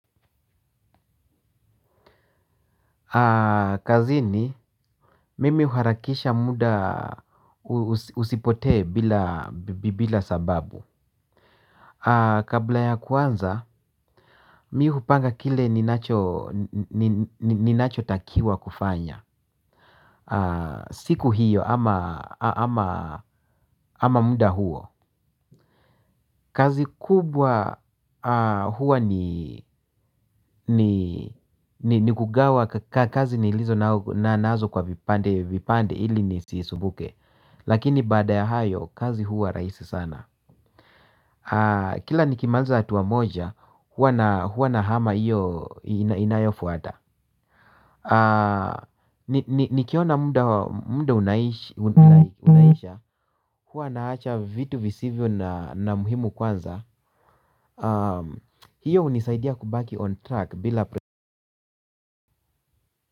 Kazini mimi uharakisha muda usipote bila sababu kabla ya kwanza mi hupanga kile ninacho takiwa kufanya. Siku hiyo ama muda huo kazi kubwa huwa ni ni kugawa kazi nilizo na nazo kwa vipande ili nisi sumbuke. Lakini baada ya hayo kazi huwa rahisi sana. Kila nikimaliza hatuwa moja huwa na hama hiyo inayofuata. Nikiona muda unaisha huwa naacha vitu visivyo na muhimu kwanza hiyo unisaidia kubaki on track bila.